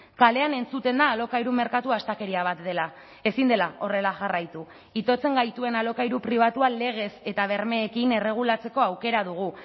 kalean entzuten da alokairu merkatua astakeria bat dela ezin dela horrela jarraitu itotzen gaituen alokairu pribatua legez eta bermeekin erregulatzeko aukera dugu